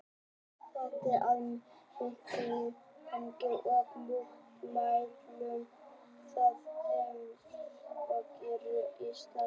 Sætti það mikilli gagnrýni og mótmælum af þeim sem hliðhollir eru Ísraelsríki.